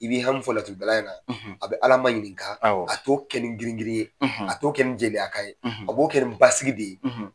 I b'i hami fɔ laturudala ye a bɛ ala maɲininka a t'o kɛ ni giringirin ye a t'o kɛ ni jeliyakan ye a b'o kɛ ni basigi de ye.